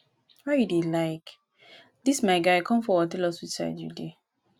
why you dey like dis? my guy come forward tell us which side you dey